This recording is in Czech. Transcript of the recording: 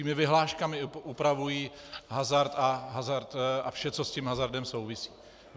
Svými vyhláškami upravují hazard a vše, co s tím hazardem souvisí.